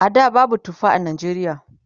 a da babu tufa a Najeriya